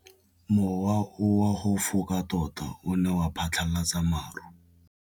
Mowa o wa go foka tota o ne wa phatlalatsa maru.